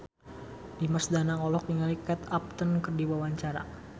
Dimas Danang olohok ningali Kate Upton keur diwawancara